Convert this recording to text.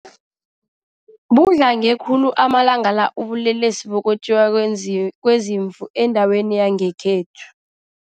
Budlange khulu amalanga la ubulelesi bokwetjiwa kwezimvu endaweni yangekhethu.